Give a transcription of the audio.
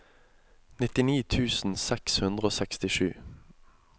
nittini tusen seks hundre og sekstisju